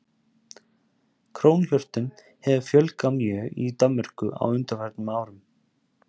Krónhjörtum hefur fjölgað mjög í Danmörku á undanförnum árum.